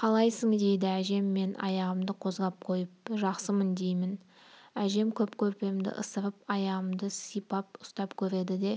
қалайсың дейді әжем мен аяғымды қозғап қойып жақсымын деймін әжем кеп көрпемді ысырып аяғымды сипап ұстап көреді де